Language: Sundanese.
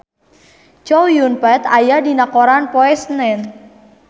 Chow Yun Fat aya dina koran poe Senen